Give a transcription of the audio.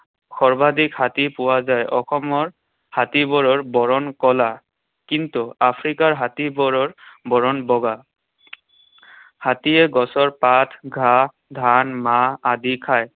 সৰ্বাধিক হাতী পোৱা যায়। অসমৰ হাতীবোৰৰ বৰণ কলা। কিন্তু আফ্ৰিকাৰ হাতীবোৰৰ বৰণ বগা। হাতীয়ে গছৰ পাত, ঘাঁহ, ধান, মাহ আদি খায়।